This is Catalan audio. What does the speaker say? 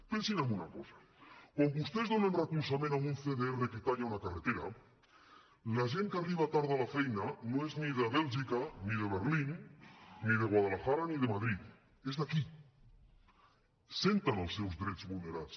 pensin en una cosa quan vostès donen recolzament a un cdr que talla una carretera la gent que arriba tard a la feina no és ni de bèlgica ni de berlín ni de guadalajara ni de madrid és d’aquí senten els seus drets vulnerats